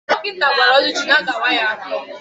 Dọkịta gwara Oluchukwu na-aga awa ya afọ.